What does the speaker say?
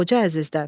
Xoca Əzizdən.